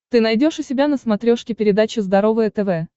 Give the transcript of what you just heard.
ты найдешь у себя на смотрешке передачу здоровое тв